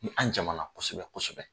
Ni an jamana kosɛbɛ kosɛbɛ